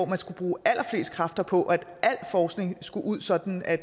man skal bruge allerflest kræfter på at al forskning skal ud sådan at